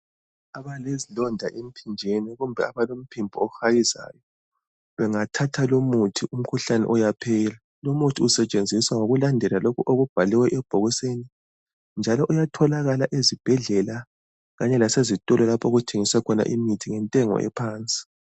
Abale zilonda emphinjeni kumbe abalomphimbo ohayizayo bengathatha lomuthi umkhuhlane uyaphela. Lumuthi usetshenziswa ngokulandela lokhu okubhalwe ebhokisini njalo uyatholakala ezibhedlela kanye lasezitolo lapho okuthengiswa khona imithi ngentengo ephansi.